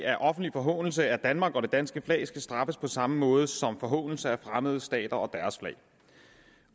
at offentlig forhånelse af danmark og det danske flag skal straffes på samme måde som forhånelse af fremmede stater